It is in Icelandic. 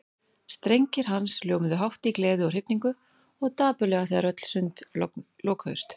Strengir hans hljómuðu hátt í gleði og hrifningu og dapurlega þegar öll sund lokuðust.